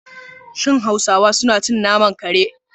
Shin hausawa suna cin naman kare?